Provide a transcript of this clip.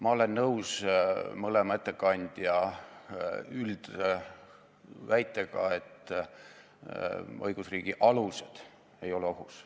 Ma olen nõus mõlema ettekandja üldväitega, et õigusriigi alused ei ole ohus.